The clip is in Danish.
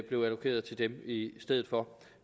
blev allokeret til dem i stedet for